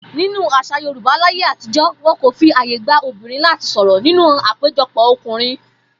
Nínú às̩à Yorùbá láyé àtijó̩, wo̩n kò fi àyè gba obìnrin láti sò̩rò̩ nínú àpéjo̩pò̩ o̩kùnrin